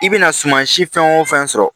I bɛna suman si fɛn o fɛn sɔrɔ